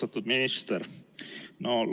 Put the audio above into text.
Austatud minister!